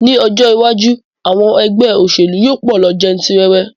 Ní ọjọ́ iwájú, àwọn ẹgbẹ́ òṣèlú yóò pọ̀ lọ jantirẹrẹ